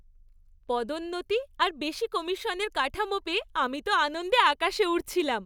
পদোন্নতি আর বেশি কমিশনের কাঠামো পেয়ে আমি তো আনন্দে আকাশে উড়ছিলাম।